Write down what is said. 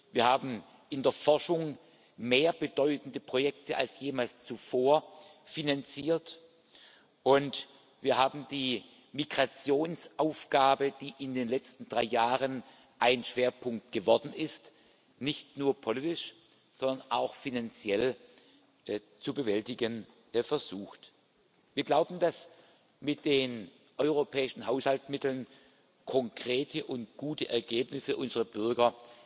Wir haben in der Forschung mehr bedeutende Projekte als jemals zuvor finanziert, und wir haben die Migrationsaufgabe, die in den letzten drei Jahren ein Schwerpunkt geworden ist, nicht nur politisch, sondern auch finanziell zu bewältigen versucht. Wir glauben, dass mit den europäischen Haushaltsmitteln konkrete und gute Ergebnisse für unsere Bürger